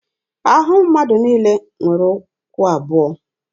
Ahụ mmadụ niile nwere ụkwụ abụọ